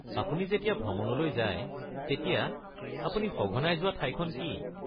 আপুনি যেতিয়া ভ্ৰমণলৈ যায় তেতিয়া আপুনি সঘনাই যোৱা ঠাইখন কি?